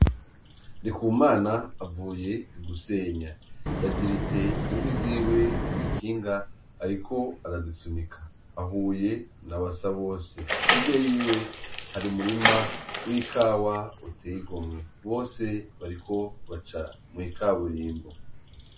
Ndikumana avuye gusenya, yaziritse inkwi ziwe kw'ikinga ariko arazisunika, Ahubw na Basabose, hirya yiwe hari umurima w'ikawa uteye igomwe, bose bariko baca mw'ikaburimbo.